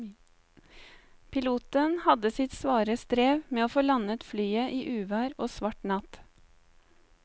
Piloten hadde sitt svare strev med å få landet flyet i uvær og svart natt.